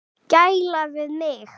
Gæla við mig.